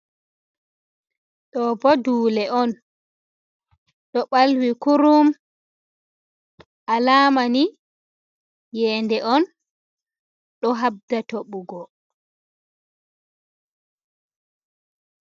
Ɗoobo duule on, ɗo ɓalwi kurum, alamani iyeende on ɗo habda toɓugo.